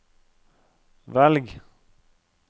velg